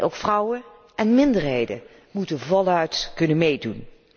Ook vrouwen en minderheden moeten voluit kunnen meedoen.